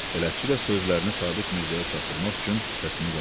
Bələtçi də sözlərini Sabit Mirzəyə çatdırmaq üçün səsini qaldırdı.